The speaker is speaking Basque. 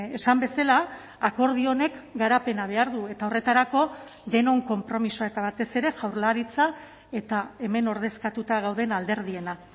esan bezala akordio honek garapena behar du eta horretarako denon konpromisoa eta batez ere jaurlaritza eta hemen ordezkatuta gauden alderdiena